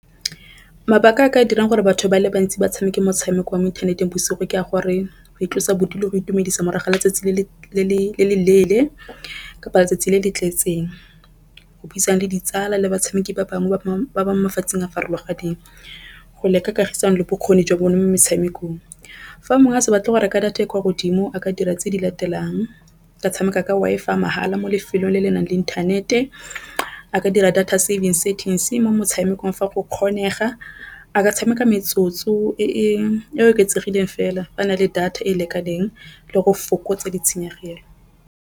Mabaka a ka dirang gore batho ba le bantsi ba tshameke motshameko wa mo inthaneteng bosigo ke a gore go itlosa bodutu le go itumedisa morago letsatsi le le leele kapa letsatsi le le tletseng. Go buisana le ditsala le batshameki ba bangwe ba mafatsheng a farologaneng. Go leka kagisano le bokgoni jwa bone mo motshamekong fa mongwe a sa batle go reka data e kwa godimo a ka dira tse di latelang, a ka tshameka ka Wi-Fi ya mahala mo lefelong le le nang le inthanete a ka dira data saving settings mo motshamekong fa go kgonega, a tshameka metsotso e oketsegileng fela fa a na le data e e lekaneng le go fokotsa ditshenyegelo.